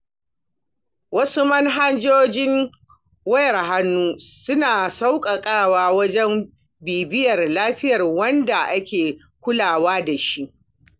Wasu manhajojin wayar hannun suna sauƙaƙawa wajen bibiyar lafiyar wanda ake kulawa da shi.